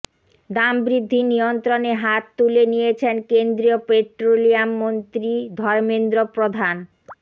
দাম বৃদ্ধি নিয়ন্ত্রণে হাত তুলে নিয়েছেন কেন্দ্রীয় পেট্রোলিয়াম মন্ত্রী ধর্মেন্দ্র প্রধান